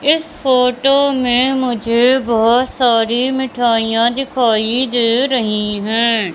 इस फोटो में मुझे बहोत सारी मिठाइयां दिखाई दे रही है।